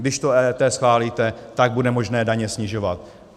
Když to EET schválíte, tak bude možné daně snižovat.